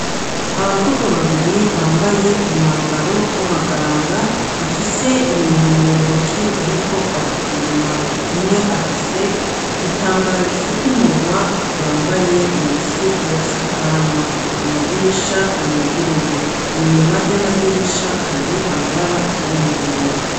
Abakobwa babiri bambaye umwambaro w'abaganga bafise ibintu mu ntoki bariko barapima, umwe afise igitambara gifukumunwa yambaye munsi yagasakanwa, amadirisha yuguruye inyuma yamadirisha hari amabara asa n'umuhondo.